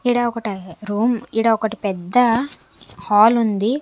ఈడ ఒకటి రూమ్ ఈడ ఒకటి పెద్ద హాల్ ఉంది.